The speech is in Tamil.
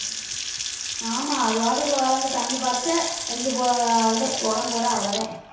ஆமா அது பாட்டுக்குள்ள வளர்ந்து தண்ணி பாய்ச்ச இது ஆஹ் அவ்வளவுதான் உரம் போடு அவ்வளவுதான்